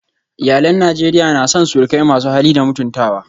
Iyalan Najeriya na son surukai masu hali da mutuntawa